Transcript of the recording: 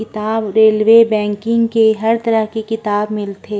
किताब railway banking के हर तरह के किताब मिलथे।